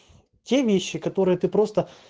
все вещи которые ты права